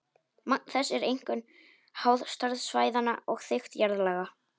Magn þess er einkum háð stærð svæðanna og þykkt jarðlaga.